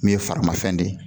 Min ye faramafɛn de,